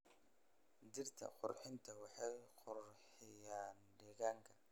Dhirta qurxinta waxay qurxinayaan deegaanka.